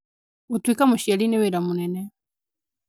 Gũtuĩka mũciari nĩ wĩra mũnene